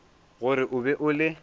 gore o be o le